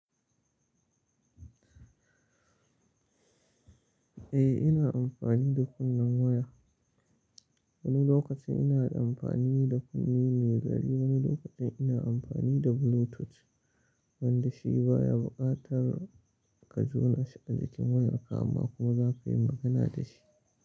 Eh ina amfani da kunnen waya. Wani lokacin ina da amfani da kunne mai gari, wani lokacin ina amfani da bluetooth wanda shi baya bukatar ka jona shi a jikin wayarka amma kuma za ka yi magana da shi.